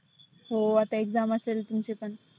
हो आता exam असेल तुमची पण.